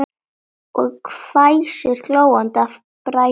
Og hvæsir, glóandi af bræði.